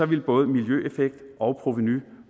ville både miljøeffekt og provenu